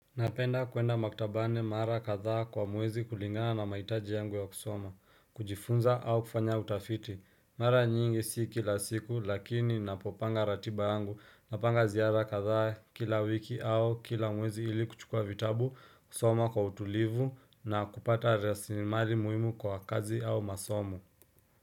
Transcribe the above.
Napenda kuenda maktabani mara katha kwa muezi kulingana na maitaji yangu ya kusoma, kujifunza au kufanya utafiti, mara nyingi siki la siku lakini napopanga ratiba angu, napanga ziyara katha kila wiki au kila muezi ili kuchukua vitabu, kusoma kwa utulivu na kupata rasimari muhimu kwa kazi au masomo.